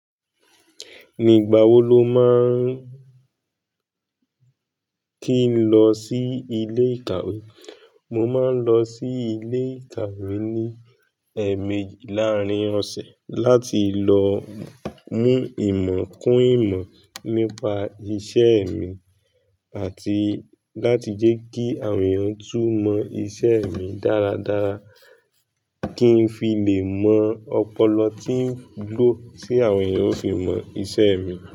Nigbà wó ló màa n kì n lọ sí ilé ìkàwé? Mó màa n lọ sí ilé ìkàwé ní ẹẹ́mejì lárín ọ̀sẹ̀, láti lọ mú ìmọ̀ kún ìmọ̀ nípa iṣẹ́ mi àtí. Láti jẹ́ kí àwọn ènìyàn tún mọ iṣẹ́ mi dáradára kí n fi lè mọ ọ̀pọ̀lo tí ń ló tí àwọn ènìyàn ó fi mọ iṣẹ́ mi.